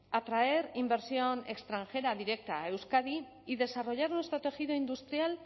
atraer inversión extranjera directa a euskadi y desarrollar nuestro tejido industrial